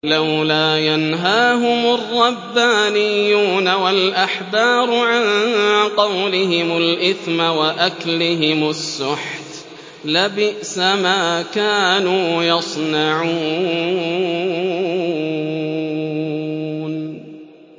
لَوْلَا يَنْهَاهُمُ الرَّبَّانِيُّونَ وَالْأَحْبَارُ عَن قَوْلِهِمُ الْإِثْمَ وَأَكْلِهِمُ السُّحْتَ ۚ لَبِئْسَ مَا كَانُوا يَصْنَعُونَ